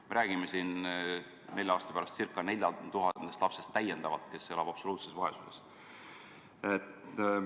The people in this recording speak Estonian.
Me räägime siis nelja aasta pärast ca 4000 täiendavast lapsest, kes elavad absoluutses vaesuses.